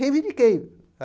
Reivindiquei.